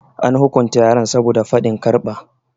An hukunta yaran saboda faɗin karfa.